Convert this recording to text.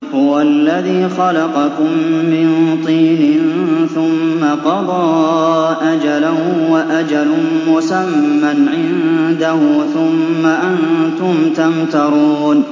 هُوَ الَّذِي خَلَقَكُم مِّن طِينٍ ثُمَّ قَضَىٰ أَجَلًا ۖ وَأَجَلٌ مُّسَمًّى عِندَهُ ۖ ثُمَّ أَنتُمْ تَمْتَرُونَ